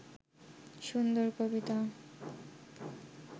সুন্দর কবিতা